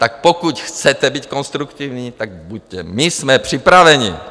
Tak pokud chcete být konstruktivní, tak buďte, my jsme připraveni.